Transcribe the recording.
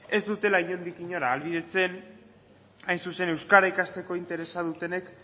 ez dutela inondik inora ahalbidetzen hain zuzen euskara ikasteko interesa dutenek